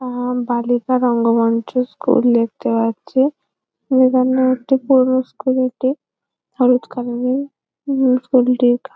উম বালিকা রঙ্গমঞ্চ স্কুল দেখতে পাচ্ছি এখানের একটি পৌর স্কুল এটি হলুদ কালার এর মিউনিসিপ্যালটি এলাকা।